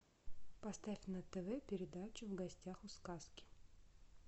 поставь на тв передачу в гостях у сказки